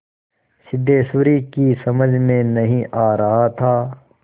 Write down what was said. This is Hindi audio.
सिद्धेश्वरी की समझ में नहीं आ रहा था